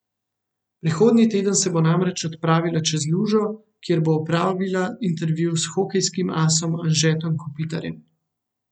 Prihodnji teden se bo namreč odpravila čez lužo, kjer bo opravila intervju s hokejskim asom Anžetom Kopitarjem.